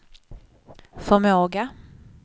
förmåga